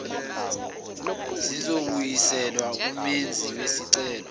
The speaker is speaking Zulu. zizobuyiselwa kumenzi wesicelo